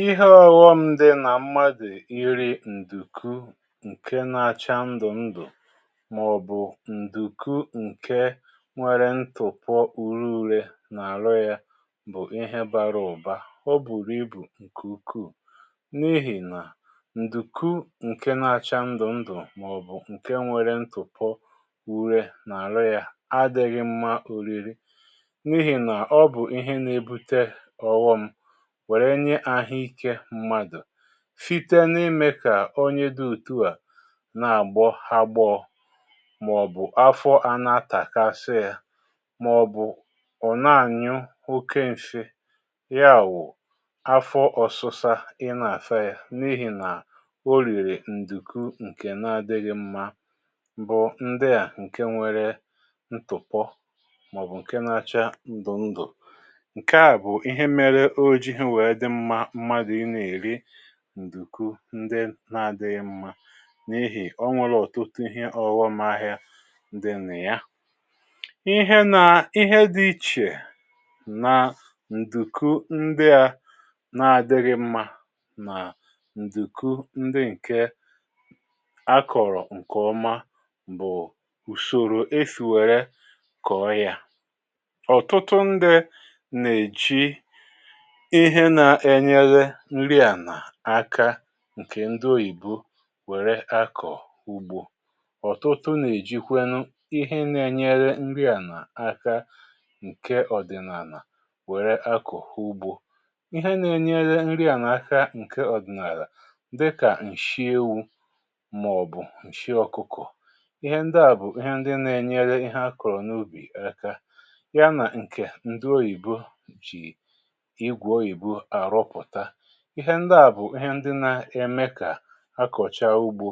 Ihe ọghọ m dị nà mmadụ̀ iri ǹdùku ǹke na-acha ndụ̀ ndụ̀ màọ̀bụ̀ ǹdùku ǹke nwere ntùpọ ure ure n’àhụ ya bụ̀ ihe bara ụ̀ba. O buru ibù ǹkè ukwuù, n’ihì nà ǹdùku ǹke na-acha ndụ̀ ndụ̀ màọ̀bụ̀ ǹke nwere ntùpọ ure n’àhụ ya adị̇ghị mma oriri, n’ihi na ọ bụ ihe n’ebuta ọghọm wèrè nye ahụikė mmadụ̀ site n’imė kà onye dị òtù a na-àgbọ agbọ̇ ma ọ̀ bụ̀, afọ a na-atàkasị yȧ, ma ọ̀ bụ̀ ọ̀ na-ànyụ oke nsị, yà bụ̀ afọ ọ̀sịsȧ ị nà-àsa yȧ n’ihì nà o rìrì ǹdùku ǹkè na-adịghị̇ mmȧ, bụ ndị à ǹke nwere ntụ̀pọ ma ọ̀ bụ̀ ǹke na-achaa ndụ̀ ndụ̀. Nke a bụ ihe mere o jighị wee dị mmȧ mmadù ị nà-èri ǹdùku ndị na-àdịghị mmȧ, n’ihì o nwere ọ̀tụtụ ihe ọ̀ghọm ahịa dị nà ya. Ihe nà ihe dị ichè nà ǹdùku ndị ȧ na-àdịghị mmȧ nà ǹdùku ndị ǹke a kọ̀rọ̀ ǹkè ọma bụ̀ ùsòrò e sì wère kọ̀ọ ya. Ọtụtụ ndị nà-èji ihe na-ènyere nri àlà aka ǹkè ndị oyìbo wère akọ̀ ugbo. Ọtụtụ nà-èjikwenu ihe na-ènyere nri àlà aka ǹke ọ̀dị̀nàlà wère akọ̀ ugbo. Ihe na-ènyere nri àlà aka ǹke ọ̀dị̀nàlà dịkà ǹshị ewu, mà ọ bụ̀ ǹshị ọ̀kụkọ̀. Ihe ndị à bụ̀ ihe ndị na-ènyere ihe akọ̀rọ̀ n’ubì aka, ya nà ǹkè ndị oyìbo ji igwe oyibo arụpụta. Ihe ndị à bụ̀ ihe ndị nȧ-eme kà akọ̀chaa ugbȯ,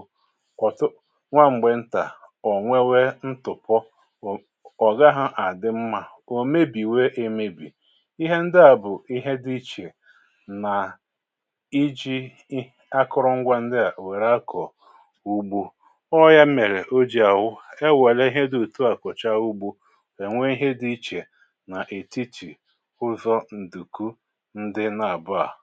nwa m̀gbè ntà, ò nwewe ntụ̀pọ, ọ gaghị à dị mmȧ, ò mebìwe emebì. Ihe ndị à bụ̀ ihe dị ichè nà iji̇ akụrụngwa ndị à wère akọ̀ ùgbo. Ọ yȧ mèrè o jì àbụ e wère ihe dị òtu à kọ̀chaa ugbȯ, e nwee ihe dị ichè nà ètitì ụzọ nduku ndị n’abụ a.